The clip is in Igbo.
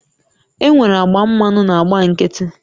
Enwere agba mmanụ na agba nkịtị